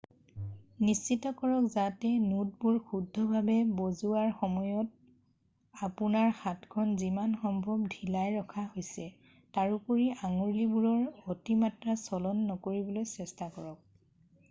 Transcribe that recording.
নিশ্চিত কৰক যাতে নোটবোৰ শুদ্ধ ভাৱে বজোৱাৰ সময়ত আপোনাৰ হাতখন যিমান সম্ভৱ ঢিলাই ৰখা হৈছে তাৰোপৰি আঙুলিবোৰৰ অতিমাত্ৰা চলন নকৰিবলৈ চেষ্টা কৰক